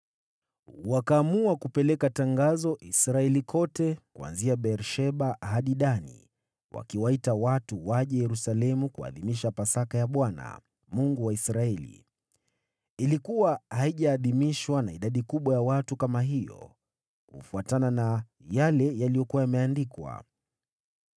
Wakaamua kupeleka tangazo Israeli kote, kuanzia Beer-Sheba hadi Dani, wakiwaita watu waje Yerusalemu kuadhimisha Pasaka ya Bwana , Mungu wa Israeli. Ilikuwa haijaadhimishwa na idadi kubwa ya watu kama hiyo kufuatana na yale yaliyokuwa yameandikwa.